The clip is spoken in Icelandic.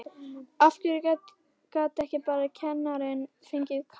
Af hverju gat ekki bara kennarinn fengið kast?